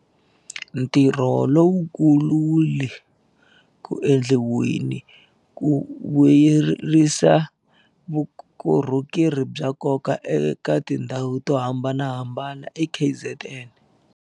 Ntirho lowukulu wu le ku endliweni ku vuyelerisa vukorhokeri bya nkoka eka tindhawu to hambanahambana eKZN.